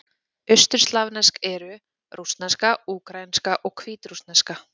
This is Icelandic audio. Austurslavnesk eru: rússneska, úkraínska og hvítrússneska.